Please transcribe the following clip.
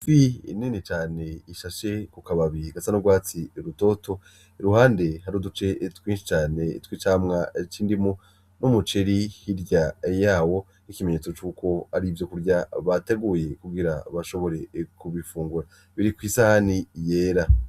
Ifi nini cane ishashe ku kababi gasa n'ugwatsi rutoto, iruhande hari uduce twinshi cane tw'icamwa c'indimu n'umuceri hirya yawo nk'ikimenyetso cuko ari ivyo kurya bateguye kugira bashobore kubifungura biri kw'isahani yera.